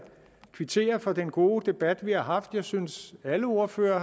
kvittere for den gode debat vi har haft jeg synes at alle ordførere